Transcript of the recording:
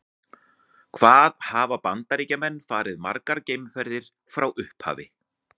Hvað hafa Bandaríkjamenn farið margar geimferðir frá upphafi?